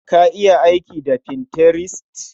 Ka iya aiki da Pinterest?